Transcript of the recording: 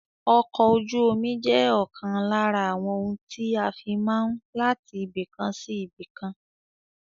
Ọkọ̀ ojú omi je òkan lára àwọn ohun tí a fi máa n láti ibìkan sí ibìkan